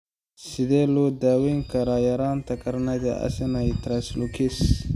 Sidee loo daweyn karaa yaraanta carnitine acylcarnitine translocase?